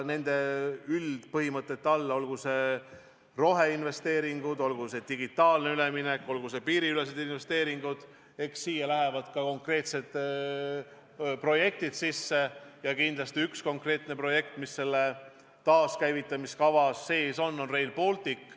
Nende üldpõhimõtete alla – olgu see roheinvesteeringud, olgu see digitaalne üleminek, olgu see piiriülesed investeeringud – lähevad ka konkreetsed projektid, ja kindlasti üks konkreetne projekt, mis selle taaskäivitamise kava sees on, on Rail Baltic.